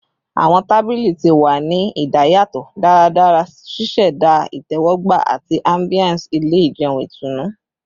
Awọn tabili ti wa ni idayatọ daradara, ṣiṣẹda itẹwọgba ati ambiance ile ijeun itunu